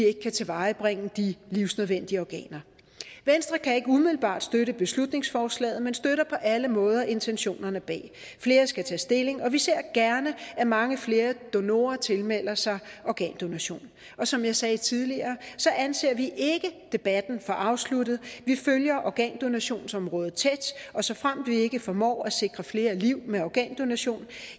ikke kan tilvejebringe de livsvigtige organer venstre kan ikke umiddelbart støtte beslutningsforslaget men støtter på alle måder intentionerne bag flere skal tage stilling og vi ser gerne at mange flere donorer tilmelder sig organdonation og som jeg sagde tidligere anser vi ikke debatten for afsluttet vi følger organdonationsområdet tæt og såfremt vi ikke formår at sikre flere liv med organdonation